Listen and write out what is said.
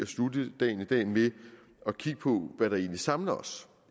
slutte dagen i dag med at kigge på hvad der egentlig samler os